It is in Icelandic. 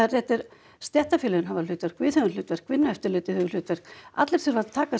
þetta er stéttarfélögin hafa hlutverk við höfum hlutverk Vinnueftirlitið hefur hlutverk allir þurfa að taka